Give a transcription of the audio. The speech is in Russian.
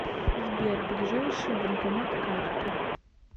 сбер ближайший банкомат карты